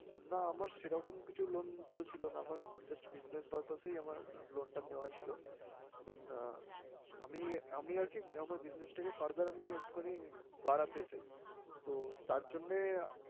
না আমার সেরকম কিছু loan তো ছিলো না, আমার just business purpose এই আমার loan টা নেওয়া ছিলো। then আমি আমি আরকি আমার business টাকে further আমি একটুখানি বাড়াতে চাই। তো তাঁর জন্যেই